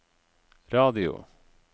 radio